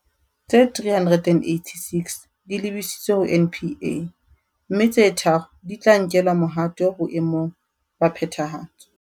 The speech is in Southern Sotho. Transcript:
Tse 386 di lebisitswe ho NPA, mme tse tharo di tla nkelwa mohato boe mong ba phethahatso.